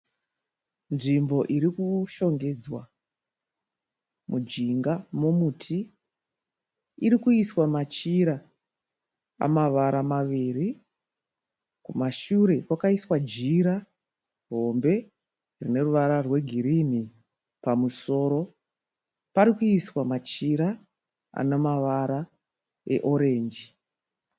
Nzvimbo iri kushongedzwa mujinga momuti. Iri kuiswa machira amavara maviri. Kumashure kwakaiswa jira hombe rine ruvara rwegirinhi. Pamusoro pari kuiswa majira ana mavara eorenji.